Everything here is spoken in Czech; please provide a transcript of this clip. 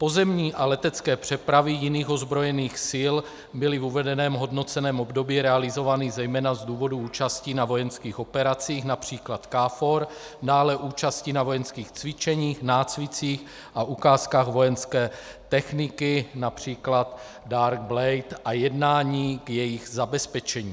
Pozemní a letecké přepravy jiných ozbrojených sil byly v uvedeném hodnoceném období realizovány zejména z důvodů účastí na vojenských operacích, například KFOR, dále účasti na vojenských cvičeních, nácvicích a ukázkách vojenské techniky, například Dark Blade, a jednání k jejich zabezpečení.